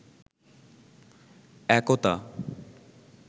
একতা